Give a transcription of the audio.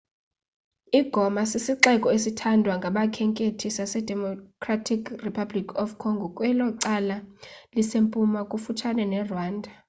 i-goma sisixeko esithandwa ngabakhenkethi sasedemocratic republic of congo kwelo cala lisempuma kufutshane nerwanda